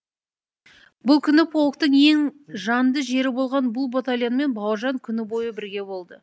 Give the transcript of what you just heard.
бұл күні полктың ең жанды жері болған бұл батальонмен бауыржан күні бойы бірге болды